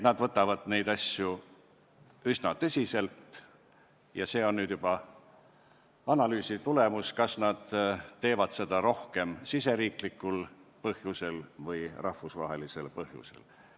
Nad võtavad neid asju üsna tõsiselt ja see on juba analüüsi tulemus, kas nad teevad seda rohkem riigisisestel või rahvusvahelistel põhjustel.